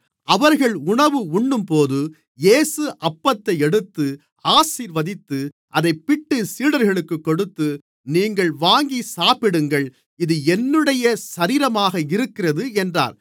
அவர்கள் உணவு உண்ணும்போது இயேசு அப்பத்தை எடுத்து ஆசீர்வதித்து அதைப் பிட்டு சீடர்களுக்குக் கொடுத்து நீங்கள் வாங்கிச்சாப்பிடுங்கள் இது என்னுடைய சரீரமாக இருக்கிறது என்றார்